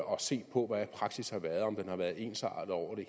og se på hvordan praksis har været om den har været ensartet over